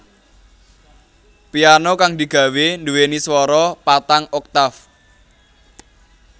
Piano kang digawé duweni swara patang oktaf